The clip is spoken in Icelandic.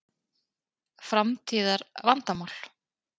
Framtíðar vandamál?